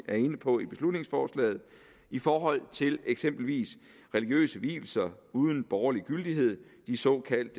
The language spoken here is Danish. er inde på i beslutningsforslaget i forhold til eksempelvis religiøse vielser uden borgerlig gyldighed de såkaldte